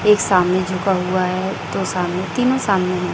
एक सामने झुका हुआ है दो सामने तीनों सामने हैं।